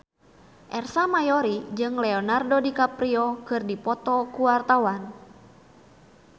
Ersa Mayori jeung Leonardo DiCaprio keur dipoto ku wartawan